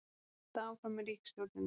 Halda áfram í ríkisstjórninni